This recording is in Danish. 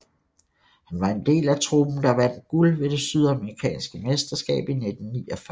Han var en del af truppen der vandt guld ved det sydamerikanske mesterskab i 1949